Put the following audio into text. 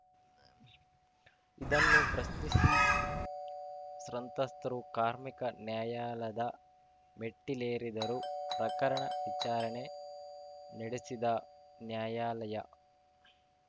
ಇದನ್ನು ಪ್ರಶ್ನಿಸಿ ಸ್ರಂತ್ರಸ್ತರು ಕಾರ್ಮಿಕ ನ್ಯಾಯಾಲದ ಮೆಟ್ಟಿಲೇರಿದರು ಪ್ರಕರಣ ವಿಚಾರಣೆ ನೆಡೆಸಿದ ನ್ಯಾಯಾಲಯ